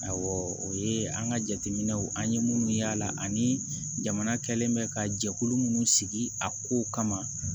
Awɔ o ye an ka jateminɛw an ye minnu y'ala ani jamana kɛlen bɛ ka jɛkulu minnu sigi a kow kama